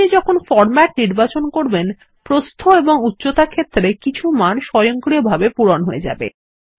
আপনি যখন ফরমেট নির্বাচন করবেন প্রস্থ এবং উচ্চতা ক্ষেত্রে কিছু মান স্বয়ংক্রিয়ভাবে পূরণ হয়ে যায়